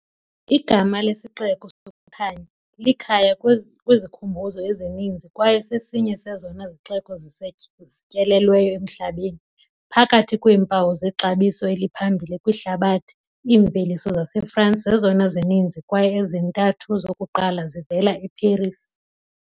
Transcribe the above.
Igama lesiXeko sokuKhanya, likhaya kwizikhumbuzo ezininzi kwaye sesinye sezona zixeko zityelelweyo emhlabeni. Phakathi kweempawu zexabiso eliphambili kwihlabathi, iimveliso zaseFrance zezona zininzi kwaye ezintathu zokuqala zivela eParis.